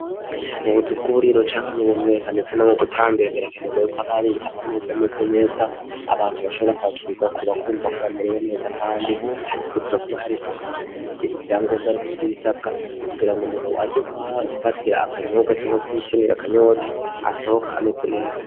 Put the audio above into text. Mu buzu bw'uburiro canke mu bunywero eka ndetse no mu butambiro birakenerwa yuko haba hari amameza ameze neza abantu bashobora kwakirirwako bakumva ko bamerewe neza, kandi hategerezwa kuba hari isuku rikwije ivyangombwa, rikwije ibisabwa kugira ngo umuntu aje kuhafatira akanyobwa canke kuhivunira akanyota asohoke ameze neza.